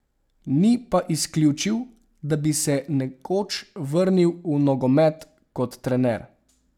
Ni pa izključil, da bi se nekoč vrnil v nogomet kot trener.